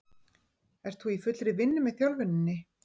Ert þú í fullri vinnu með þjálfuninni?